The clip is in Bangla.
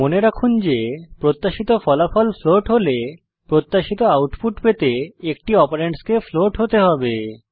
মনে রাখুন যে প্রত্যাশিত ফলাফল ফ্লোট হলে প্রত্যাশিত আউটপুট পেতে একটি অপারেন্ডস কে ফ্লোট হতে হবে